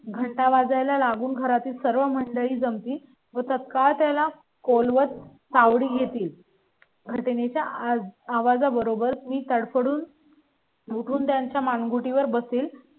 घंटा वाजायला लागून घरातील सर्व मंडळी जम ती. वर तत्काळ त्याला खोल वर पाहून घेतील तर त्याच्या आवाजा बरोबर पाणी काळ पडून. उठून त्यांच्या मानगुटी वर बसेल